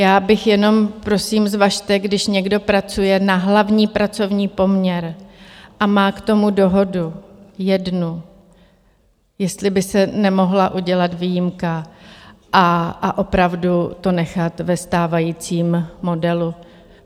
Já bych jenom - prosím, zvažte, když někdo pracuje na hlavní pracovní poměr a má k tomu dohodu, jednu, jestli by se nemohla udělat výjimka a opravdu to nechat ve stávajícím modelu.